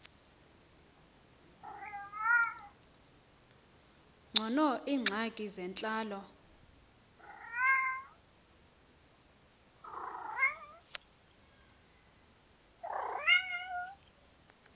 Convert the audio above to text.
ngcono iingxaki zentlalo